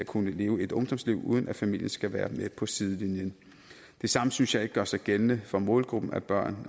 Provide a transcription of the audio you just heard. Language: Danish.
kunne lave et ungdomsliv uden at familien skal være med på sidelinjen det samme synes jeg ikke gør sig gældende for målgruppen af børn